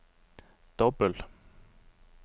dobbel